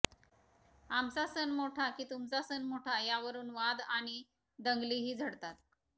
आमचा सण मोठा की तुमचा सण मोठा यावरून वाद आणि दंगलीही झडतात